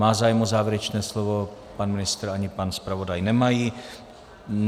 Má zájem o závěrečné slovo - pan ministr ani pan zpravodaj nemají.